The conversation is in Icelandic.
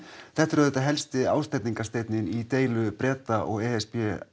þetta er auðvitað helsti ásteytingarsteinninn í deilu Breta og e s b